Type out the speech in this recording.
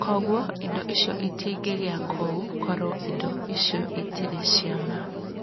Kwoguo, indo icio itingĩgĩa kuo korũo indo icio itarĩ cia ma.